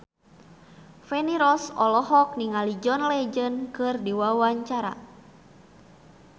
Feni Rose olohok ningali John Legend keur diwawancara